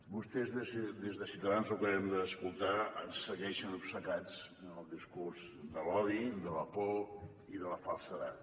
vostès des de ciutadans ho acabem d’escoltar segueixen obcecats en el discurs de l’odi de la por i de la falsedat